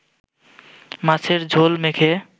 মাছের ঝোল মেখে